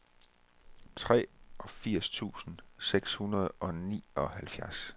treogfirs tusind seks hundrede og nioghalvfjerds